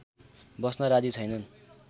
बस्न राजी छैनन्